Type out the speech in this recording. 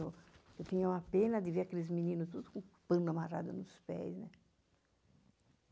Eu tinha uma pena de ver aqueles meninos todos com o pano amarrado nos pés, né?